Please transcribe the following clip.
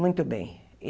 Muito bem.